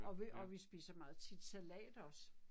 Og og vi spiser meget tit salat også